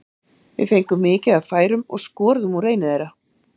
Við fengum mikið af færum og skoruðum úr einu þeirra.